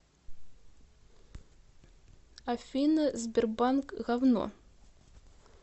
афина сбербанк гавно